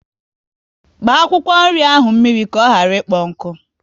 Gbaa akwụkwọ nri ahụ mmiri ka ọ ghara ikpo nkụ!